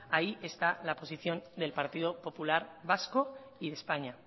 ahí está la posición del partido popular vasco y de españa